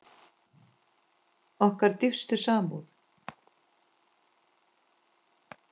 Okkar dýpstu samúð.